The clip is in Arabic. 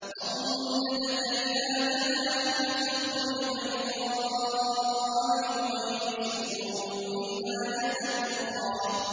وَاضْمُمْ يَدَكَ إِلَىٰ جَنَاحِكَ تَخْرُجْ بَيْضَاءَ مِنْ غَيْرِ سُوءٍ آيَةً أُخْرَىٰ